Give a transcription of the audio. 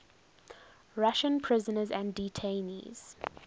russian prisoners and detainees